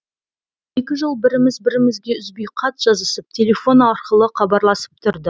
екі жыл біріміз бірімізге үзбей хат жазысып телефон арқылы хабарласып тұрдық